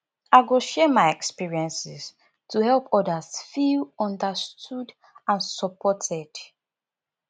i go share my experiences to help others feel understood and supported